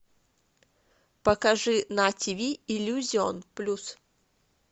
покажи на ти ви иллюзион плюс